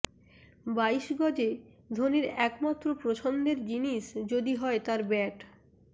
বাইশ গজে ধোনির একমাত্র পছন্দের জিনিস যদি হয় তাঁর ব্যাট